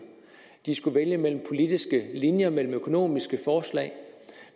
de skulle vælge mellem politiske linjer mellem økonomiske forslag og